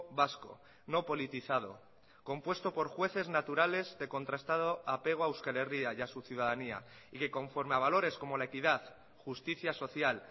vasco no politizado compuesto por jueces naturales de contrastado apego a euskal herria y a su ciudadanía y que conforme a valores como la equidad justicia social